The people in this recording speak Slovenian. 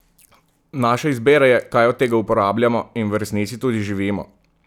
Naša izbira je, kaj od tega uporabljamo in v resnici tudi živimo!